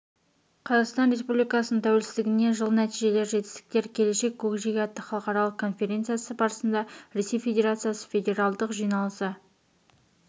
қазақстан республикасының тәуелсіздігіне жыл нәтижелер жетістіктер келешек көкжиегі атты халықаралық конференциясы барысында ресей федерациясы федералдық жиналысы